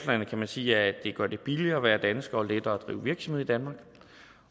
kan man sige at de gør det billigere at være dansker og lettere at drive virksomhed i danmark